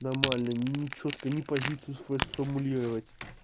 нормально не чётко не позицию свою сформулировать